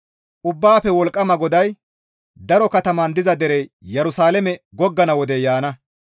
Ubbaafe Wolqqama GODAY, «Daro katamatan diza derey Yerusalaame goggana wodey yaana.